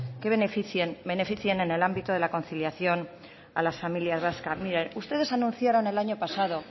que beneficien en el ámbito de la conciliación a las familias vascas mire ustedes anunciaron el año pasado